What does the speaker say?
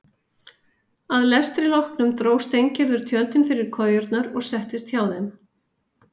Að lestri loknum dró Steingerður tjöldin fyrir kojurnar og settist hjá þeim.